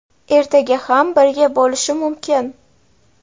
Ertaga ham birga bo‘lishi mumkin.